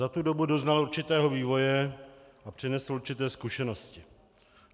Za tu dobu doznal určitého vývoje a přinesl určité zkušenosti.